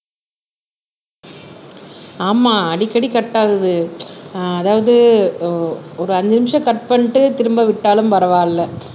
ஆமா அடிக்கடி கட்டாதது ஆஹ் அதாவது ஒரு அஞ்சு நிமிஷம் கட் பண்ணிட்டு திரும்ப விட்டாலும் பரவாயில்லை